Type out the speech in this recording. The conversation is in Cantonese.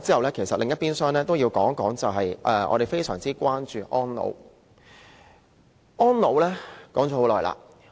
說完房屋，另一邊廂要談的是我們非常關注的安老問題。